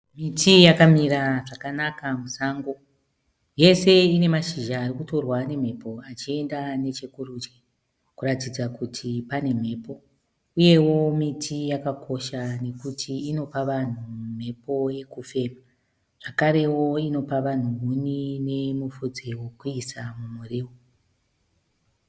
Miti yakamira zvakanaka musango yese ine mashizha akutorwa nemhepo achienda nechekurudyi kuratidza kuti pane mhepo uyewo miti yakakosha nekuti inopa vanhu mhepo yekufama zvakare inopawo vanhu huni nemufudze wekuisa mumuriwo